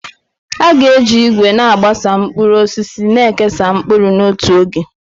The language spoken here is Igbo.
A ga-eji ìgwè na-agbasa mkpụrụ osisi na-ekesa mkpụrụ n'otu oge.